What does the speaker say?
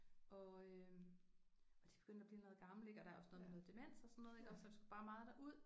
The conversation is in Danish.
Og øh og de begyndte at blive noget gamle ik og der er også noget med noget demens og sådan noget ik og så vi skulle bare meget derud